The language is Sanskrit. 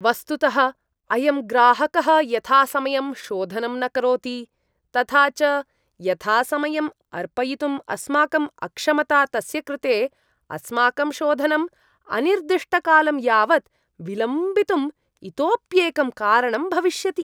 वस्तुतः, अयं ग्राहकः यथासमयं शोधनं न करोति, तथा च यथासमयम् अर्पयितुम् अस्माकम् अक्षमता तस्य कृते अस्माकं शोधनम् अनिर्दिष्टकालं यावत् विलम्बितुम् इतोऽप्येकं कारणं भविष्यति।